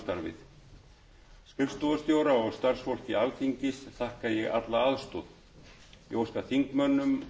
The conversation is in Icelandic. samstarfið skrifstofustjóra og starfsfólki alþingis þakka ég alla aðstoð ég óska